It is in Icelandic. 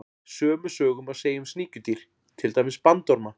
Sömu sögu má segja um sníkjudýr, til dæmis bandorma.